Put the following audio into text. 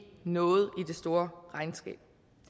noget i det store regnskab